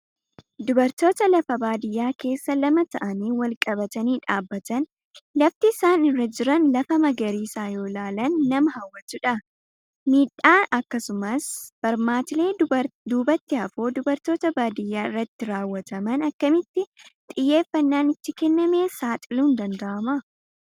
Dubartoota lafa baadiyaa keessa lama ta'anii walqabatii dhaabbatan, lafti isaan irra jiran lafa magariisa yoo ilaalan nama hawwatudha. Miidhaa akkasumas barmaatilee duubatti hafoo dubartoota baadiyaa irratti raawwataman akkamitti xiyyeeffannaan itti kennamee saaxiluun danda'ama?